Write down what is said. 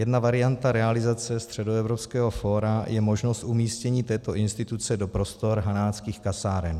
Jedna varianta realizace Středoevropského fóra je možnost umístění této instituce do prostor Hanáckých kasáren.